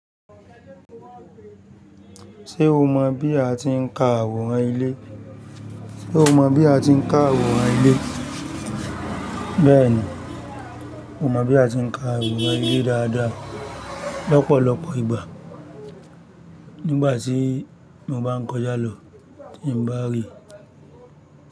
Ṣé o mọ̀ bí a ti ń ka àwòrán ilé? Bẹ́ẹ̀ni, mo mọ́n bí a ti ń ka àwòrán ilé dáadáa. Lopolọpọ̀ ìgbà nígbà tí mo bá ń kọjá lọ tí mo bàa rí.